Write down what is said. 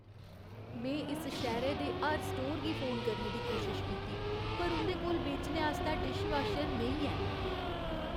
में इस शैह्‌रे दे हर स्टोर गी फोन करने दी कोशश कीती, पर उं'दे कोल बेचने आस्तै डिशवाशर नेईं ऐ।